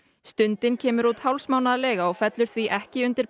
stundin kemur út hálfsmánaðarlega og fellur því ekki undir